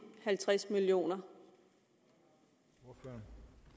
halvtreds million kr